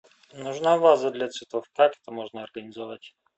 нужна ваза для цветов как это можно организовать